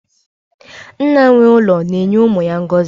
Nna nwe ụlọ na-enye umu ya ngozi